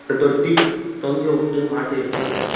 ஓரு தொட்டி தொங்க வுட்டு மாட்டிருக்காங்க.